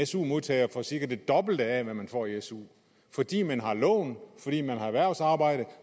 su modtager for cirka det dobbelte af hvad man får i su fordi man har lån fordi man har erhvervsarbejde